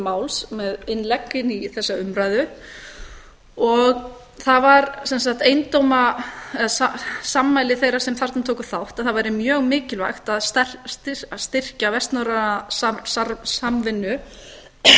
máls með innlegg inn í þessa umræðu og það var sem sagt sammæli þeirra sem þarna tóku þátt að það væri mjög mikilvægt að styrkja vestnorræna samvinnu